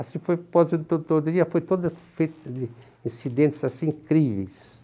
Assim foi a aposentadoria, foi toda feita de incidentes assim incríveis.